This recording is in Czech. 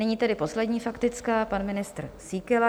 Nyní tedy poslední faktická, pan ministr Síkela.